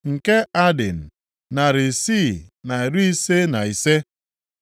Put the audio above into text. nke Adin, narị isii na iri ise na ise (655),